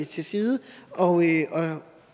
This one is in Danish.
til side og